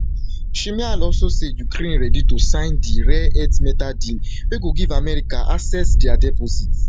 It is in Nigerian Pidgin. shmyhal also say ukraine ready to sign di rare earth mineral deal wey go give america access dia deposits